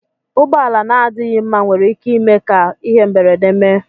Ụgbọala na adịghị mma nwere ike ime ka ihe mberede mee.